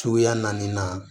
Suguya naani na